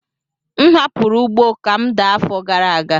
M hapụrụ ugbo ka m daa afọ gara aga.